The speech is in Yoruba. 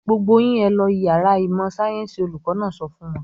"Gbogbo yín ẹ lọ ìyàrá ìmọ̀-sáyẹ́ńsì! Olùkọ́ náà sọ fún wọn.